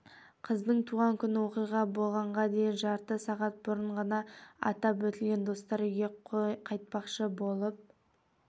қыздың туған күні оқиға болғанға дейін жарты сағат бұрын ғана атап өтілген достар үйге қайтпақшы болып